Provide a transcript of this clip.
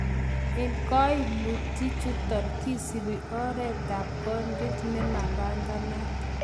En koimutichuton, kisibi oretab kondiet nemapanganat.